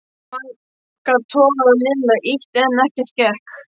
Magga togaði og Lilla ýtti en ekkert gekk.